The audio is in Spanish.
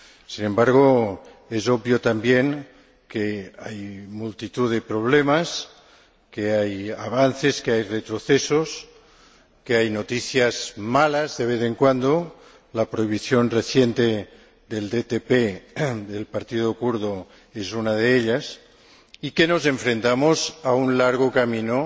Sin embargo, es obvio también que hay multitud de problemas, hay avances, hay retrocesos, hay noticias malas de vez en cuando la prohibición reciente del partido kurdo DTP es una de ellas y que nos enfrentamos a un largo camino